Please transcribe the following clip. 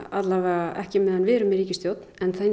alla vega ekki á meðan við erum í ríkisstjórn en það